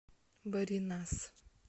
баринас